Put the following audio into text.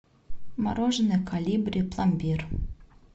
мороженое колибри пломбир